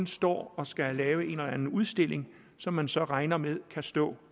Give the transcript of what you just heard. står og skal lave en eller anden udstilling som man så regner med kan stå